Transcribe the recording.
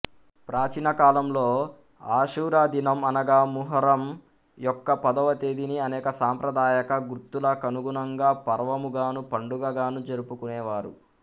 ప్రాచీనకాలంలో ఆషూరా దినం అనగా ముహర్రం యొక్క పదవతేదీని అనేక సాంప్రదాయక గుర్తుల కనుగుణంగా పర్వముగాను పండుగగానూ జరుపుకునేవారు